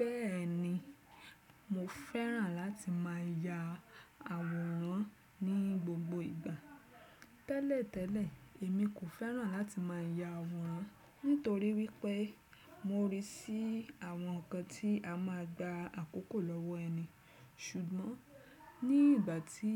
Bẹ́ẹ̀ni, mo fẹ́ràn láti má ya àwòrán ní gbogbo ìgbà. Tẹ́lẹ̀tẹ́lẹ̀, èmi kò fẹ́ràn láti má ya àwòrán nítorí wípé mo ríi sí àwọn nǹkan tí a máa gba àkókò lọ́wọ́ ẹni. Ṣùgbọ́n ní ìgbà tí